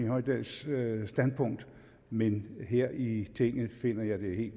hoydals standpunkt men her i tinget finder jeg det